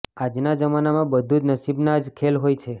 આજના જમાનામાં બધું જ નસીબના જ ખેલ હોય છે